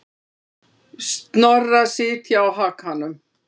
Snorra sitja á hakanum.